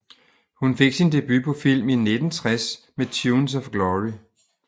Hun fik sin debut på film i 1960 med Tunes of Glory